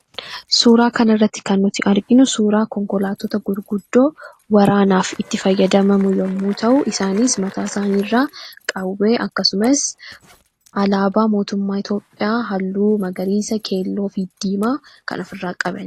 Suuraa kanarratti kan arginu suuraa konkolaattota gurguddoo waraanaaf itti fayyadamaman yoo ta’u, isaanis mataa isaaniirraa qawwee akkasumas alaabaa Itoophiyaa halluu magariisa, keelloo, diimaa kan ofirraa qabanidha.